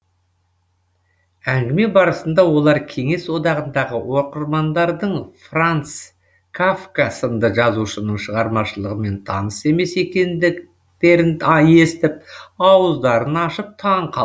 әңгіме барысында олар кеңес одағындағы оқырмандардың франц кафка сынды жазушының шығармашылығымен таныс емес екендіктерін естіп ауыздарын ашып таң қал